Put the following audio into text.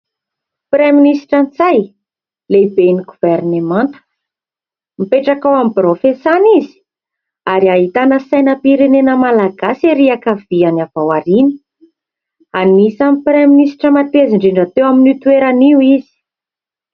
Praiministra Ntsay, lehiben'ny governemanta, mipetraka ao amin'ny birao fiasany izy ary ahitana sainam-pirenena Malagasy ery ankaviany avy ao aoriana. Anisan'ny Praiministra mateza indrindra teo amin'io toerana io izy.